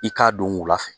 I k'a don wula fɛ